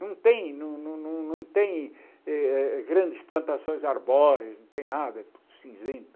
Não tem não não tem eh eh grandes plantações arbóreas, não tem nada, é tudo cinzento.